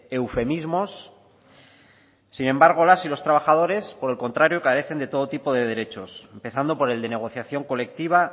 eufemismos sin embargo las y los trabajadores por el contrario carecen de todo tipo de derechos empezando por el de negociación colectiva